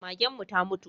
Magen mu ta mutu